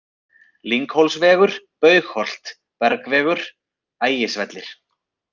Lynghólsvegur, Baugholt, Bergvegur, Ægisvellir